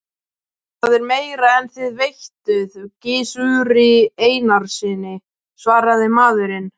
Það er meira en þið veittuð Gizuri Einarssyni, svaraði maðurinn.